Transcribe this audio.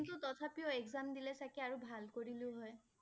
কিন্তু তথাপিও exam দিলে চাগে আৰু ভাল কৰিলোঁ হয়